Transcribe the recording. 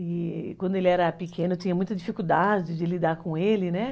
E quando ele era pequeno eu tinha muita dificuldade de lidar com ele, né?